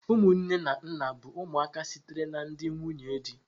Ụmụ nne na nna bụ ụmụaka sitere na ndị nwunye di.